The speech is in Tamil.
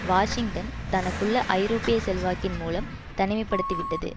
வாஷிங்டன் தனக்குள்ள ஐரோப்பிய செல்வாக்கின் மூலம் தனிமை படுத்தி விட்டது